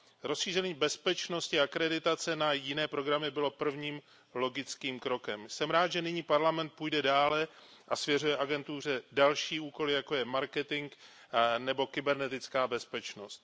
Rozšíření bezpečnostní akreditace na jiné programy bylo prvním logickým krokem. Jsem rád, že nyní Parlament půjde dále a svěřuje agentuře další úkoly, jako je marketing nebo kybernetická bezpečnost.